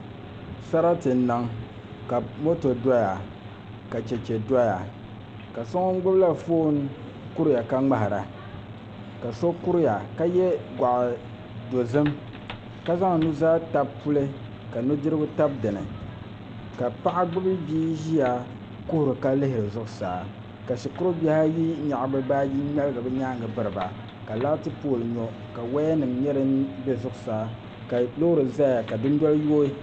Sarati n niŋ ka moto doya ka chɛchɛ doya ka so ŋun gbubila foon kuriya ka ŋmahariba ka so kuriya ka yɛ goɣa dozim ka zaŋ nuzaa tabi puli ka nudirigu tabi dinni ka paɣa gbubi bia ʒiya kuhuri la lihiri zuɣusaa ka shikuru bihi ayi nyaɣa bi baaji ŋmaligi bi nyaangi biriba ka laati pool nyo ka woya nim nyɛ din bɛ zuɣusaa ka loori ʒɛya ka dundoli yooi